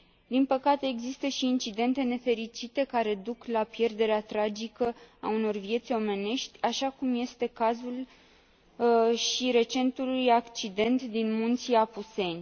Din păcate, există și incidente nefericite care duc la pierderea tragică a unor vieți omenești, așa cum este cazul și recentului accident din munții Apuseni.